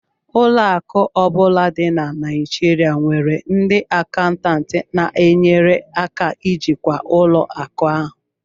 Ụlọ akụ ọ bụla dị na Naijirịa nwere ndị akaụntantị na-enyere aka ijikwa ụlọ akụ ahụ